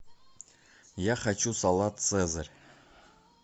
я хочу салат цезарь